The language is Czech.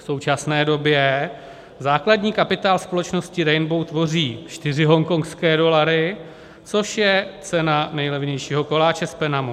V současné době základní kapitál společnosti Rainbow tvoří 4 hongkongské dolary, což je cena nejlevnějšího koláče z Penamu.